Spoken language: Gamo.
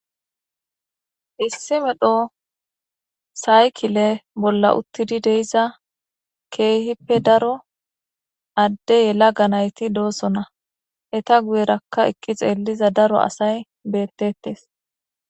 issi medho saykile bolla uttidi deiza keehippe daro adde yela ganayti doosona eta guyerakka eqqi xeelliza daro asay bettetes